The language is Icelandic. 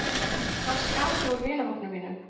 Hann skar sig úr í vinahópnum mínum.